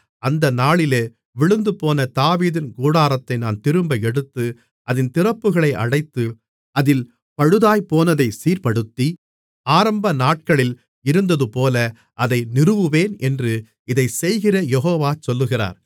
அந்த நாளிலே விழுந்துபோன தாவீதின் கூடாரத்தை நான் திரும்ப எடுத்து அதின் திறப்புகளை அடைத்து அதில் பழுதாய்ப்போனதைச் சீர்ப்படுத்தி ஆரம்பநாட்களில் இருந்ததுபோல அதை நிறுவுவேன் என்று இதைச் செய்கிற யெகோவா சொல்லுகிறார்